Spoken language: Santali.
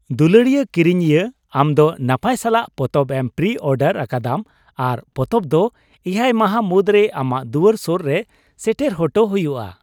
ᱫᱩᱞᱟᱹᱲᱤᱭᱟᱹ ᱠᱤᱨᱤᱧᱤᱭᱟᱹ ! ᱟᱢ ᱫᱚ ᱱᱟᱯᱟᱭ ᱥᱟᱞᱟᱜ ᱯᱛᱚᱵ ᱮᱢ ᱯᱨᱤᱼᱚᱰᱟᱨ ᱟᱠᱟᱫᱟᱢ ᱟᱨ ᱯᱚᱛᱚᱵ ᱫᱚ ᱮᱭᱟᱭ ᱢᱟᱦᱟ ᱢᱩᱫᱽᱨᱮ ᱟᱢᱟᱜ ᱫᱩᱣᱟᱹᱨ ᱥᱳᱨ ᱨᱮ ᱥᱮᱴᱮᱨ ᱦᱚᱴᱚ ᱦᱩᱭᱩᱜᱼᱟ ᱾